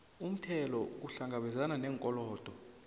umthelo ukuhlangabezana neenkolodo